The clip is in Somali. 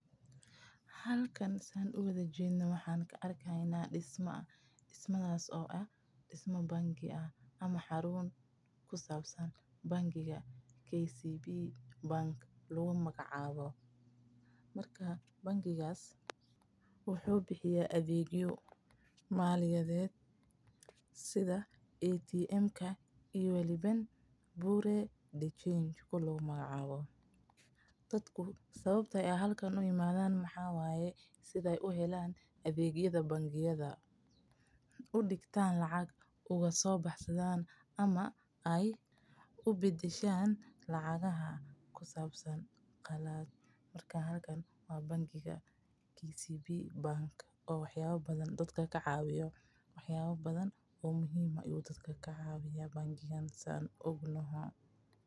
Halkan saan uwada jeedo waxaan arki haayna disma ama xaruun ku sabsan bangi ladaha KCB wuxuu bixiya adeegya dadka waxeey u imaadan inaay helaan adeegyo una baxaan lacgya una gashtaan wax yaaba badan ayuu kacawiya dadka.